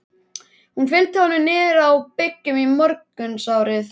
Hún fylgdi honum niður á bryggju í morgunsárið.